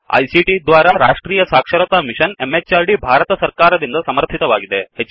ಇದು ಐಸಿಟಿ ದ್ವಾರಾ ರಾಷ್ಟ್ರೀಯ ಸಾಕ್ಷರತಾ ಮಿಶನ್ ಎಂಎಚಆರ್ಡಿ ಭಾರತ ಸರ್ಕಾರ ದಿಂದ ಸಮರ್ಥಿತವಾಗಿದೆ